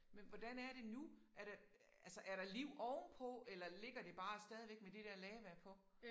Men hvordan er det nu er der altså er der liv ovenpå eller ligger det bare stadigvæk med det dér lava på